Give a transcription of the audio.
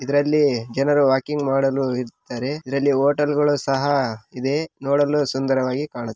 ಇದ್ರಲ್ಲಿ ಜನರು ವಾಕಿಂಗ್‌ ಮಾಡಲು ಇರ್ತಾರೆ ಇದ್ರಲ್ಲಿ ಹೋಟೆಲ್‌ಗಳು ಸಹಾ ಇದೆ ನೋಡಲು ಸುಂದರವಾಗಿ ಕಾಣ್ಣು--